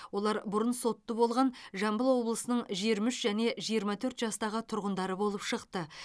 олар бұрын сотты болған жамбыл облысының жиырма үш және жиырма төрт жастағы тұрғындары болып шықты